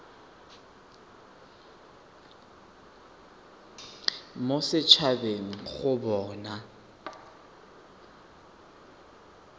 mo set habeng go bona